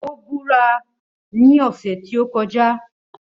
Ó búra ní ọ̀sẹ̀ tí ó kọjá